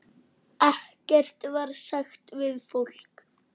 Ekkert var sagt við fólkið.